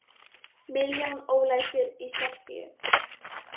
Milljón ólæsir í Serbíu